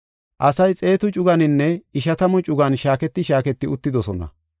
Asay xeetu cuganinne ishatamu cugan shaaketi shaaketi uttidosona.